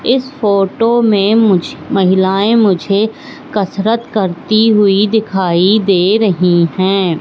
इस फोटो में मुझे महिलाएं मुझे कसरत करती हुई दिखाई दे रही हैं।